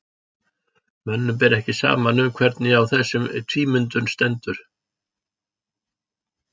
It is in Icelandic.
mönnum ber ekki saman um hvernig á þessum tvímyndum stendur